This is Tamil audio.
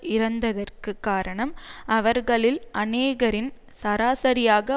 இறந்ததற்கு காரணம் அவர்களில் அனேகரின் சராசரியாக